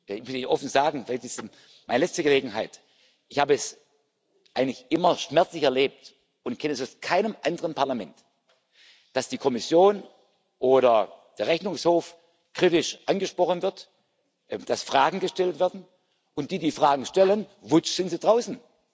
Ich will Ihnen offen sagen, vielleicht ist es meine letzte Gelegenheit Ich habe es eigentlich immer schmerzlich erlebt und kenne es aus keinem anderen Parlament, dass die Kommission oder der Rechnungshof kritisch angesprochen wird, dass Fragen gestellt werden, und die, die die Fragen stellen Wutsch, sind sie draußen!